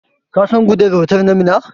Ka san Gudel otal na Minna?